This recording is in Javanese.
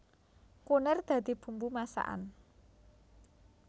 Kunir dadi bumbu masakan